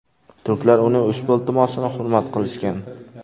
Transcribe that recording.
Turklar uning ushbu iltimosini hurmat qilishgan.